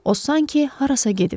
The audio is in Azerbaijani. O sanki harasa gedib.